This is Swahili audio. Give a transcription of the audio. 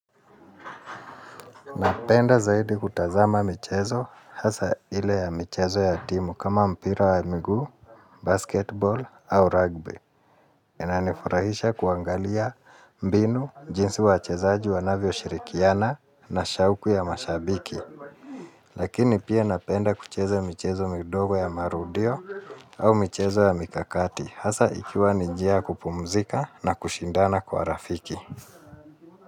Napenda zaidi kutazama michezo, hasa ile ya michezo ya timu kama mpira wa miguu, basketball au rugby. Inanifurahisha kuangalia mbinu, jinsi wachezaji wanavyoshirikiana na shauku ya mashabiki. Lakini pia napenda kucheza michezo kidogo ya marudio au michezo ya mikakati, hasa ikiwa ni njia ya kupumzika na kushindana kwa rafiki.